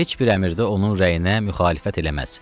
Heç bir əmirdə onun rəyinə müxalifət eləməz.